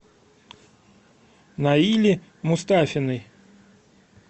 наили мустафиной